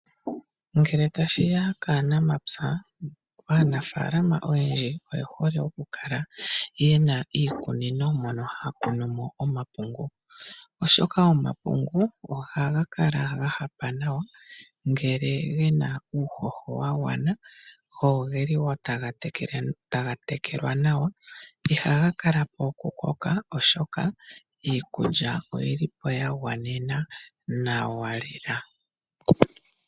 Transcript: Ngele tashi ya kaanamapya aanafaalama oyendji oye hole okukala yena iikunino, mono haya kunu mo omapungu oshoka omapungu ohaga kala gahapa nawa. Ngele gena uuhoho wa gwana go ogeli woo taga tekelwa nawa. Ihaga kala po okukoka oshoka iikulya oyili po ya gwanena nawa lela.